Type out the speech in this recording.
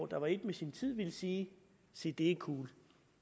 der var et med sin tid ville sige se det er cool